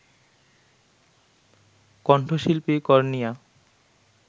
কণ্ঠশিল্পী কর্ণিয়া